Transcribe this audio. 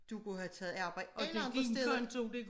Du kunne have taget arbejde alle andre steder